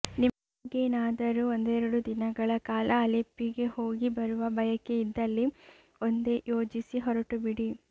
ನಿಮಗೇನಾದರೂ ಒಂದೆರಡು ದಿನಗಳ ಕಾಲ ಅಲೆಪ್ಪಿಗೆ ಹೋಗಿ ಬರುವ ಬಯಕೆಯಿದ್ದಲ್ಲಿ ಒಂದೆ ಯೋಜಿಸಿ ಹೊರಟುಬಿಡಿ